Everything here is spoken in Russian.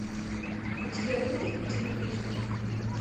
у тебя будет телепузики